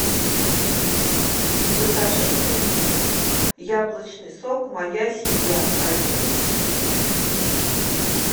закажи мне яблочный сок моя семья один литр